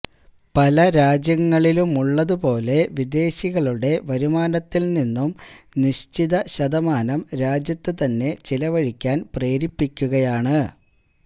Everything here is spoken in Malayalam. പല രാജ്യങ്ങളിലുമുള്ളതു പോലെ വിദേശികളുടെ വരുമാനത്തില് നിന്നും നിശ്ചിത ശതമാനം രാജ്യത്ത് തന്നെ ചിലവഴിക്കാന് പ്രേരിപ്പിക്കുയാണ്